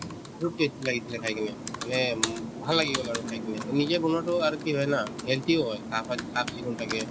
বহুত tasty লাগিছিলে খাই কিনে মানে উম ভাল লাগি গল আৰু খাই কিনে নিজে বনোৱাতো আৰু কি হয় না healthy ও হয় চাফ-চিকুণ থাকে